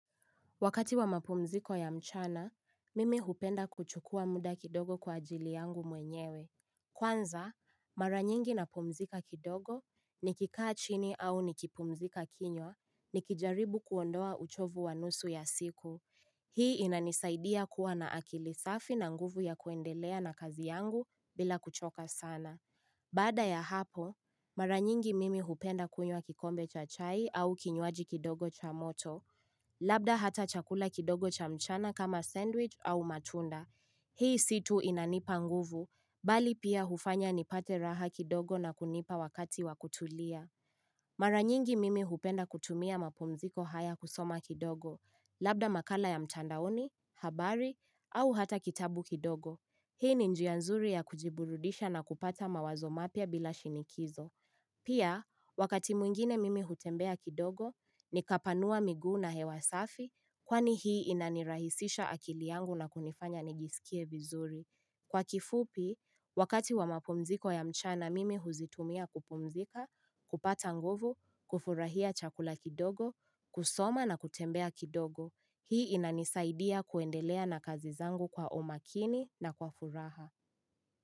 Wakati wa mapumziko ya mchana, mimi hupenda kuchukua muda kidogo kwa ajili yangu mwenyewe. Kwanza, mara nyingi na pumzika kidogo, nikikaa chini au nikipumzika kinywa, nikijaribu kuondoa uchovu wanusu ya siku. Hii inanisaidia kuwa na akili safi na nguvu ya kuendelea na kazi yangu bila kuchoka sana. Baada ya hapo, mara nyingi mimi hupenda kunywa kikombe cha chai au kinywaji kidogo cha moto. Labda hata chakula kidogo cha mchana kama sandwich au matunda Hii situ inanipa nguvu, mbali pia hufanya nipate raha kidogo na kunipa wakati wakutulia Maranyingi mimi hupenda kutumia mapumziko haya kusoma kidogo Labda makala ya mtandaoni, habari, au hata kitabu kidogo Hii ni njia nzuri ya kujiburudisha na kupata mawazo mapya bila shinikizo Pia, wakati mwingine mimi hutembea kidogo, nikapanua migu na hewasafi kwani hii inanirahisisha akili yangu na kunifanya nijisikie vizuri. Kwa kifupi, wakati wa mapumziko ya mchana mimi huzitumia kupumzika, kupata nguvu, kufurahia chakula kidogo, kusoma na kutembea kidogo, hii inanisaidia kuendelea na kazizangu kwa umakini na kwa furaha.